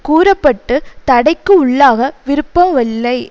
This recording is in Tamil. கூற பட்டு தடைக்கு உள்ளாக விருப்பவில்லை